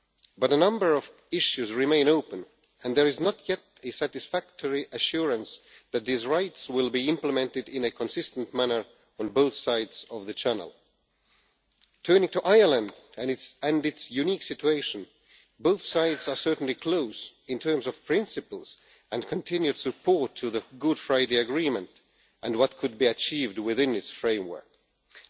But a number of issues remain open and there is not yet any satisfactory assurance that these rights will be implemented in a consistent manner on both sides of the Channel. Turning to Ireland and its unique situation, both sides are certainly close in terms of principles and continued support for the Good Friday Agreement and what could be achieved within its framework, and